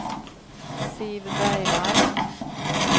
Siv Bergvall